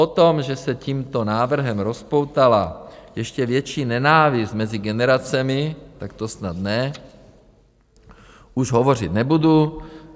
O tom, že se tímto návrhem rozpoutala ještě větší nenávist mezi generacemi, tak to snad ne, už hovořit nebudu.